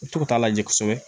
U t'u t'a lajɛ kosɛbɛ